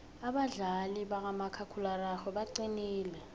abadlali bakamakhakhulararhwe baqinile